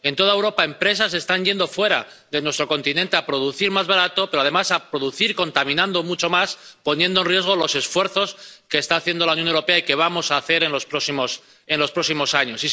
En toda Europa se están yendo empresas fuera de nuestro continente a producir más barato, pero, además, a producir contaminando mucho más, poniendo en riesgo los esfuerzos que está haciendo la Unión Europea y que vamos a hacer en los próximos años.